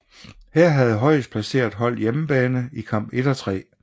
Her havde højest placeret hold hjemmebane i kamp 1 og 3